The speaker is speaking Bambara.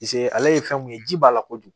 ale ye fɛn mun ye ji b'a la kojugu